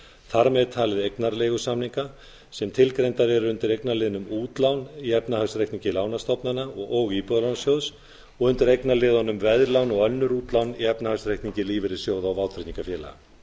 þar með talin eignarleigusamninga sem tilgreindar eru undir eignaliðnum útlán í efnahagsreikningi lánastofnana og íbúðalánasjóðs og undir eignaliðunum veðlán og önnur útlán í efnahagsreikningi lífeyrissjóða og vátryggingafélaga